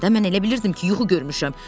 Mən elə bilirdim ki, yuxu görmüşəm.